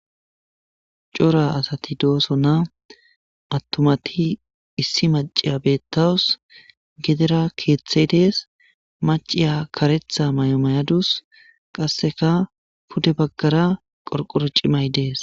Cora asati doosonna attumati issi maciya beettawus gedera keeththey dees maciya karetha may'o mayadus qasseka pude baggara qorqoro cimay dees.